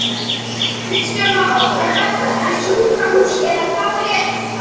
Kristján Már: Er þetta fyrir sjúkrahús eða hvað er þetta?